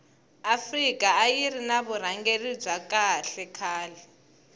afika ayiri ni vurhangeri bya kahle khale